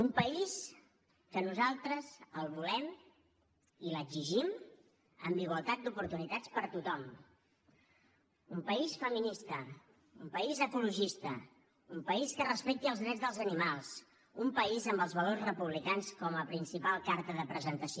un país que nosaltres el volem i l’exigim amb igualtat d’oportunitats per tothom un país feminista un país ecologista un país que respecti els drets dels animals un país amb els valors republicans com a principal carta de presentació